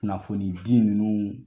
Kunnafoni di ninnu